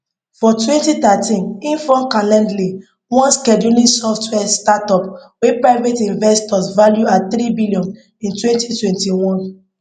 for twenty thirteen im form calendly one scheduling software startup wey private investors value at three billion in twenty twenty one